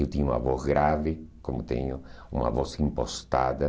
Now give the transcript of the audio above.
Eu tinha uma voz grave, como tenho uma voz impostada.